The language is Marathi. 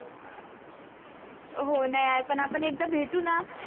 हो नाय आपण एकदा भेटू ना